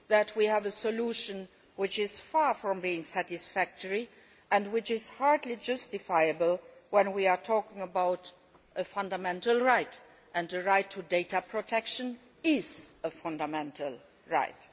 We thus have a solution which is far from satisfactory, and which is hardly justifiable since we are talking about a fundamental right and the right to data protection is a fundamental right.